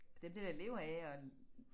Dem der der lever af at